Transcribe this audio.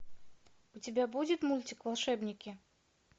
у тебя будет мультик волшебники